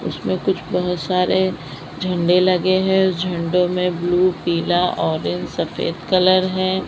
उसमें कुछ बहुत सारे झंडे लगे हैं और झंडो में ब्लू पीला ऑरेंज सफेद कलर है।